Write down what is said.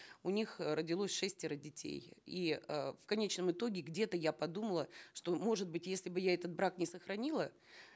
у них э родилось шестеро детей и э в конечном итоге где то я подумала что может быть если бы я этот брак не сохранила